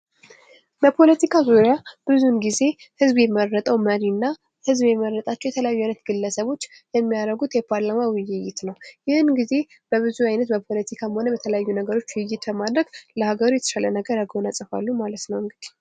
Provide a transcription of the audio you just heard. በፖለቲካ ዙሪያ ብዙ ጊዜ ህዝብ የመረጠው መሪና ሕዝብ የመረጣቸው የተለያዩ አይነት ግለሰቦች የሚያደርጉት የፓርላማ ውይይት ነው :: ይህን ጊዜ በብዙ አይነት በፖለቲካም ሆነ በተለያዩ ነገሮች ውይይት በማድረግ ለሀገሩ የተሻለ ነገር ያጎናጽፋሉ ማለት ነው እንግዲህ ::